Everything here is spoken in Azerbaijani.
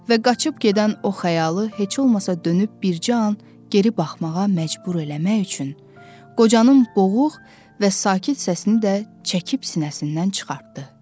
Və qaçıb gedən o xəyalı heç olmasa dönüb bircə an geri baxmağa məcbur eləmək üçün, qocanın boğuq və sakit səsini də çəkib sinəsindən çıxartdı.